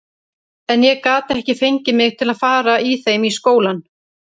En ég gat ekki fengið mig til að fara í þeim í skólann.